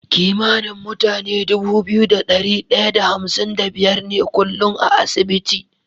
Kimanin mutane Dubu biyu da dari daya da hamsin da biyar ne kullun a asibiti